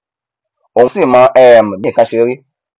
òun sì mọ um bí nkan ṣe rí